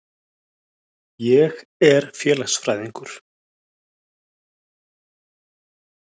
Ég er félagsfræðingur.